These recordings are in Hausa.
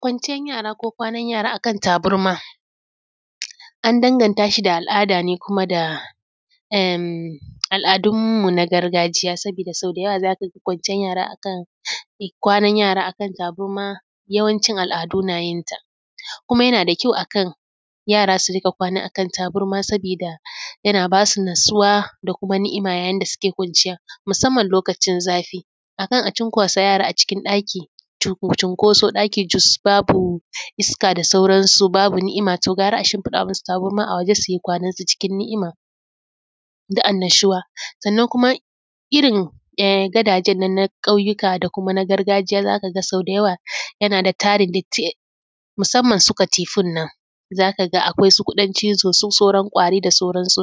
Kwanciyar yara ko kwanan yara akan tabarma an danganta shi da al’ada ne kuma da al’adun mu na gargajiya sabida sau da yawa za ka ga kwanciyar yara akan tabarma yawancin al’adu na yin ta, kuma yana da kyau akan yara su rinƙa kwana a kan tabarma sabida yana ba su natsuwa da kuma ni'ima yayin da suke kwanciyar musamman lokacin zafi, akan a cinkusa yara a cikin ɗaki, cinkoso cus ɗaki babu iska da sauransu, babu ni'ima to gara a shinfiɗa musu tabarma a waje su yi kwanan su cikin ni'ima da annashuwa. Sannan kuma irin gadajen nan na ƙauyika da kuma da kuma na gargajiya za ka ga sau da yawa yana da tarin datti musamman su katifun nan, za ka ga akwai su kuɗin cizo su sauran ƙwari da sauransu.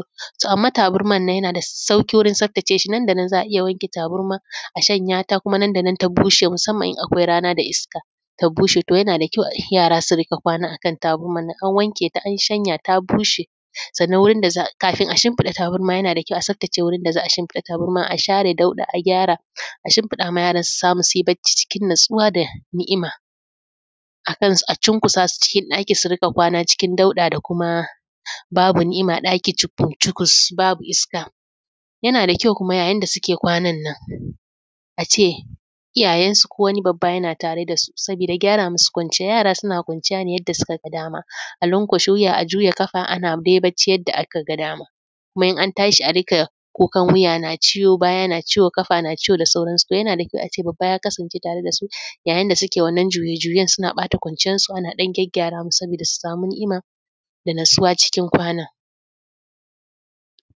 Amma tabarma nan suna da sauƙi wurin tsaftace shi nan da nan za a iya wanke tabarma a shanya ta, kuma nan da nan ta bushe musamman in akwai rana da iska, ta bushe. To yana da Kyau yara su riƙa kwana a kan tabarman in an wanke ta, an shanya ta bushe, sannan kafin a shimfiɗa tabarma yana da Kyau a tsaftace wurin da za a shimfiɗa tabarma a share a dauɗa a gyara a shimfida ma yara su samu su yi bacci cikin natsuwa da ni’ima akan a cinkusa su cikin ɗaki su rinƙa kwana cikin dauɗa da kuma babu ni'ima ɗaki cikus cikus babu iska. Yana da kyau kuma yayin da suke kwanan nan a ce iyayensu kowani babba yana tare da su sabida yara suna kwanciya ne yadda suka ga dama, a lanƙwashe wuya, a juya ƙafa ana bacci yadda aka ga dama. kuma in an tashi a riƙa kuka wuya na ciwo, baya na ciwo, ƙafa na ciwo da sauransu. Yana da kyau a ce babba ya kasance tare da su yayin da suke wannan juye juyen suna ɓata kwanciyarsu ana ɗan gyaggyara su saboda su samu ni’ima da natsuwa cikin kwana.